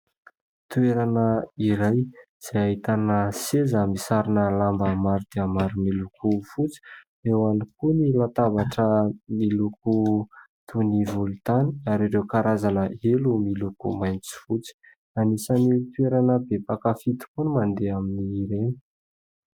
Toerana iray izay ahitana seza misarona lamba maro dia maro miloko fotsy. Eo ihany koa ny latabatra miloko toy ny volotany ary ireo karazana helo miloko mainty sy fotsy. Anisan'ny toerana be mpankafy tokoa ny mandeha amin'ireny.